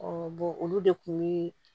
olu de kun bi